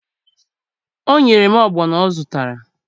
O nyere m ọgbọnọ ọ zụtara